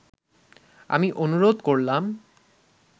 আমি অনুরোধ করলাম